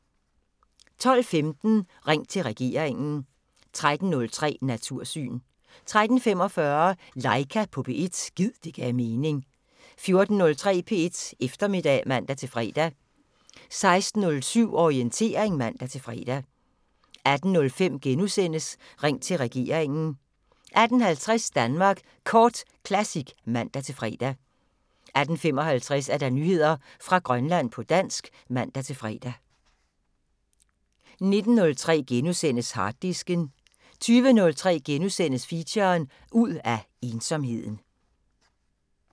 12:15: Ring til regeringen 13:03: Natursyn 13:45: Laika på P1 – gid det gav mening 14:03: P1 Eftermiddag (man-fre) 16:07: Orientering (man-fre) 18:05: Ring til regeringen * 18:50: Danmark Kort Classic (man-fre) 18:55: Nyheder fra Grønland på dansk (man-fre) 19:03: Harddisken * 20:03: Feature: Ud af ensomheden *